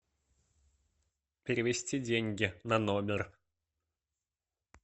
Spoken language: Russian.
перевести деньги на номер